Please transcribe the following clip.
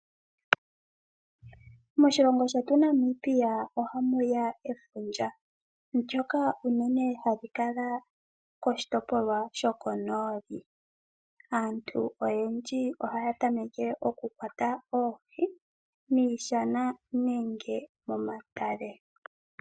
Moshilongo shetu Namibia ohamuya efundja, ndyoka uunene hali kala koshitopolwa shokonooli. Aantu oyendji ohaya tameke okukwata oohi miishana nenge momatale.